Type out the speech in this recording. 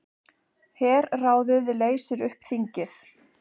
Herráðið leysir upp þingið